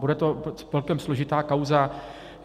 Bude to celkem složitá kauza.